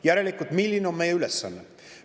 Järelikult, milline on meie ülesanne?